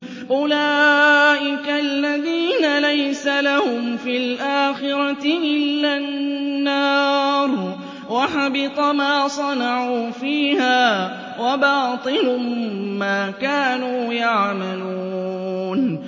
أُولَٰئِكَ الَّذِينَ لَيْسَ لَهُمْ فِي الْآخِرَةِ إِلَّا النَّارُ ۖ وَحَبِطَ مَا صَنَعُوا فِيهَا وَبَاطِلٌ مَّا كَانُوا يَعْمَلُونَ